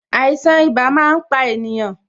Àìsàn ibà máa ń pa ènìyàn